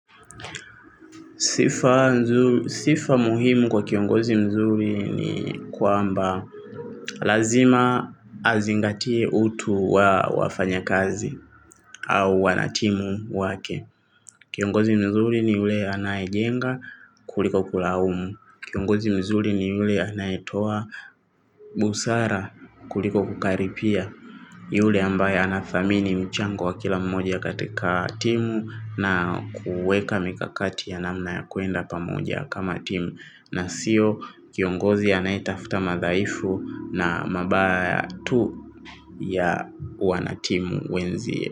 Sifa muhimu kwa kiongozi mzuri ni kwamba lazima azingatie utu wa wafanyakazi au wanatimu wake. Kiongozi mzuri ni yule anayejenga kuliko kulaumu. Kiongozi mzuri ni yule anayetoa busara kuliko kukaripia. Yule ambaye anathamini mchango wa kila mmoja katika timu na kuweka mikakati ya namna ya kuenda pamoja kama timu na sio kiongozi anayetafuta madhaifu na mabaya tu ya wanatimu wenzie.